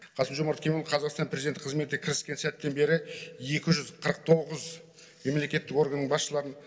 қасым жомарт кемелұлы қазақстан президенті қызметіне кіріскен сәттен бері екі жүз қырық тоғыз мемлекеттік органның басшыларын